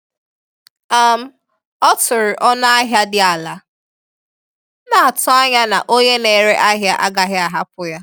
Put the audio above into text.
um Ọ tụrụ ọnụ ahịa dị ala, na-atụ anya na onye na-ere ahịa agaghị ahapụ ya.